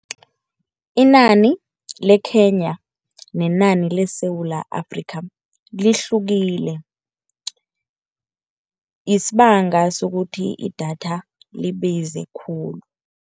Inani leKenya nenani leSewula Afrika lihlukile isibanga sokuthi idatha libize khulu.